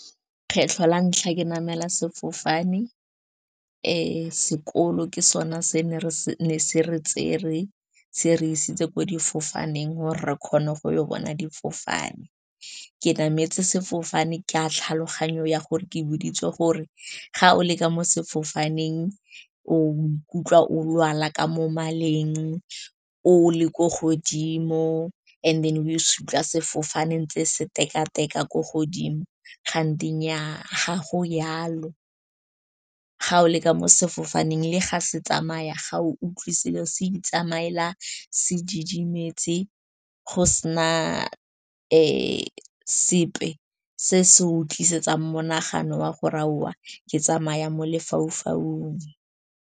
Kgetlho la ntlha ke namela sefofane sekolo ke sone se ne se re tsere, se re isitse ko difofaneng gore re kgone go bona difofane. Ke nametse sefofane ka tlhaloganyo ya gore ke boditswe gore ga o le ka mo sefofaneng o ikutlwa o lwala ka mo maleng, o le ko godimo, and then o se utlwa sefofaneng tse se teka-teka ko godimo. Kanti nnyaa, ga go yalo, ga o le ka mo sefofaneng, le ga se tsamaya, ga o utlwe selo se itsamaela, se didimetse, go sena sepe se se utlwisa yetsang monagano wa gore aowa, ke tsamaya mo lefaufaung.